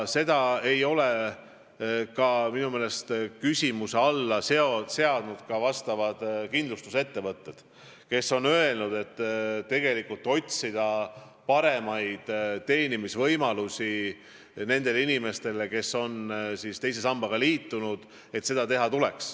Seda ei ole minu meelest küsimuse alla seadnud ka kindlustusettevõtjad, kes on öelnud, et tuleks otsida paremaid teenimisvõimalusi nendele inimestele, kes on teise sambaga liitunud.